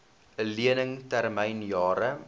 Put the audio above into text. lening termyn jare